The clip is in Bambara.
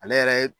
Ale yɛrɛ ye